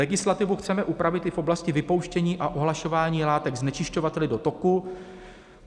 Legislativu chceme upravit i v oblasti vypouštění a ohlašování látek znečišťovateli do toku.